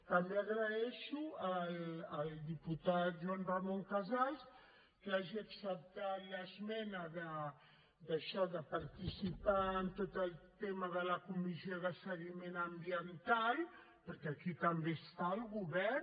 també agraeixo al diputat joan ramon casals que hagi acceptat l’esmena d’això de participar en tot el tema de la comissió de seguiment ambiental perquè aquí també hi està el govern